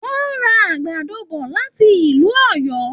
Wọn ra àgbàdo bọ láti ìlú Òyó.